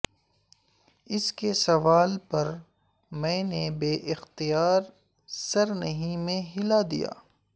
اس کے سوال پر میں نے بے اختیار سر نہیں میں ہلا دیا